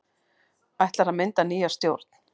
Ætlað að mynda nýja stjórn